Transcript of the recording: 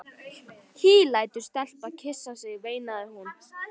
Hí lætur stelpu kyssa sig, veinaði hún.